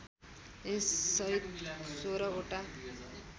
यससहित १६ वटा